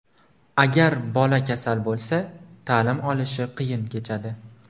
Agar bola kasal bo‘lsa, ta’lim olishi qiyin kechadi.